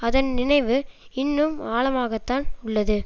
அதன் நினைவு இன்னும் ஆழமாகத்தான் உள்ளது